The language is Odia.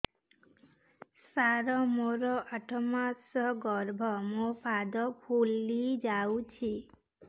ସାର ମୋର ଆଠ ମାସ ଗର୍ଭ ମୋ ପାଦ ଫୁଲିଯାଉଛି